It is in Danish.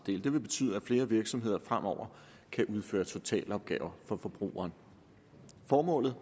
vil betyde at flere virksomheder fremover kan udføre totalopgaver for forbrugeren formålet